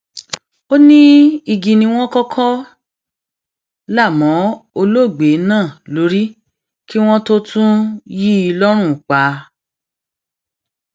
ó ní igi ni wọn kọkọ là mọ olóògbé náà lórí kí wọn tóó tún yìn ín lọrùn pa